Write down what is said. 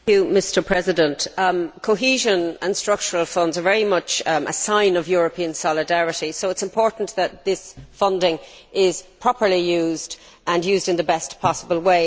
Mr President, cohesion and structural funds are very much a sign of European solidarity so it is important that this funding is properly used and used in the best possible way.